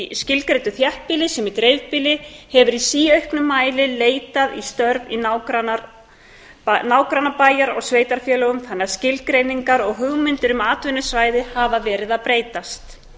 í skilgreindu þéttbýli sem í dreifbýli hefur í síauknum mæli leitað í störf í nágrannabæjar og sveitarfélögum þannig að skilgreiningar og hugmyndir um atvinnusvæði hafa verið að breytast